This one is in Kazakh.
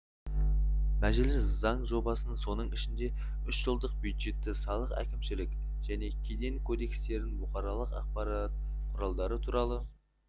мәжіліс заң жобасын соның ішінде үшжылдық бюджетті салық әкімшілік және кеден кодекстерін бұқаралық ақпарат құралдары туралы